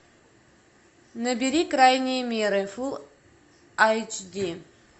набери крайние меры фулл эйч ди